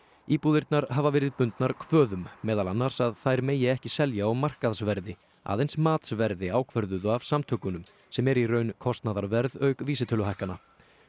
íbúðirnar hafa verið bundnar kvöðum meðal annars að þær megi ekki selja á markaðsverði aðeins matsverði ákvörðuðu af samtökunum sem er í raun kostnaðarverð auk vísitöluhækkana